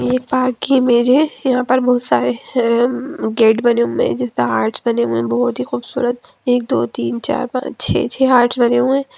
ये पार्क की इमेज है यहा पर बहुत सारे ऊ म गेट बने हुए है जिस पे आर्ट्स बने हुए है बहुत ही खूबसूरत एक दो तीन चार पांच छे छे आर्ट्स बने हुए ।